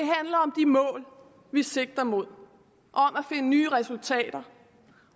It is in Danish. mål vi sigter mod og nye resultater